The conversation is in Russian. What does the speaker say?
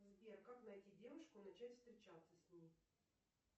сбер как найти девушку и начать встречаться с ней